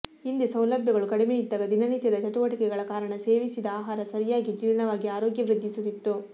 ಹಿಂದೆ ಸೌಲಭ್ಯಗಳು ಕಡಿಮೆಯಿದ್ದಾಗ ದಿನನಿತ್ಯದ ಚಟುವಟಿಕೆಗಳ ಕಾರಣ ಸೇವಿಸಿದ ಆಹಾರ ಸರಿಯಾಗಿ ಜೀರ್ಣವಾಗಿ ಆರೋಗ್ಯ ವೃದ್ಧಿಸುತ್ತಿತ್ತು